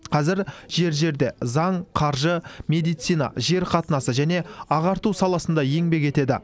қазір жер жерде заң қаржы медицина жер қатынасы және ағарту саласында еңбек етеді